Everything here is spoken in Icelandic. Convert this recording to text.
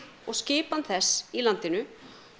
og skipan þess í landinu